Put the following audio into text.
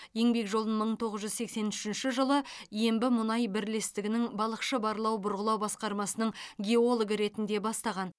еңбек жолын мың тоғыз жүз сексен үшінші жылы ембімұнай бірлестігінің балықшы барлау бұрғылау басқармасының геологы ретінде бастаған